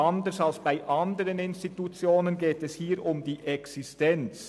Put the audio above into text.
Anders als bei anderen Institutionen geht es hier um die Existenz.